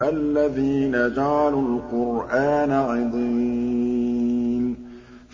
الَّذِينَ جَعَلُوا الْقُرْآنَ عِضِينَ